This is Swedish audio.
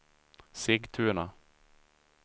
Sigtuna